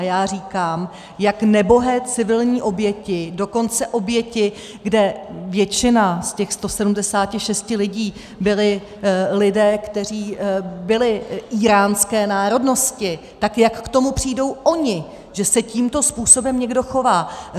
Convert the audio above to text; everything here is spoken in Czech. A já říkám, jak nebohé civilní oběti, dokonce oběti, kde většina z těch 176 lidí byli lidé, kteří byli íránské národnosti, tak jak k tomu přijdou oni, že se tímto způsobem někdo chová?